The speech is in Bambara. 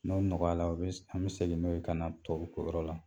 N'o nɔgɔyala bɛ an bɛ segin n'o ka na tɔw yɔrɔ la